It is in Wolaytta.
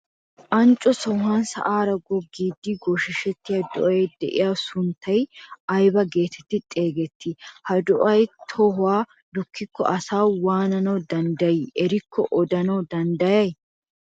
Ancco sohuwaan sa'aara goggiidi gooshshettiyaa do"ay de'iyaagaa sunttay ayba getetti xeegettii? Ha do"ay tohuwaa dukkiko asay waanana danddayii erikko odanawu danddayay?